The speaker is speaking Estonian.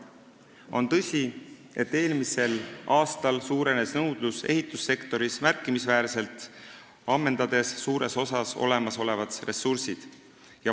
On tõsi, et eelmisel aastal suurenes nõudlus ehitussektoris märkimisväärselt, olemasolevad ressursid suures osas ammendades.